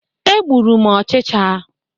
E gbụrụ m ochicha.